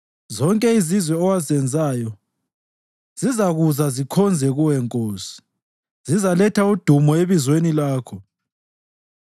Zonke izizwe owazenzayo zizakuza zikhonze kuwe, Nkosi; zizaletha udumo ebizweni lakho.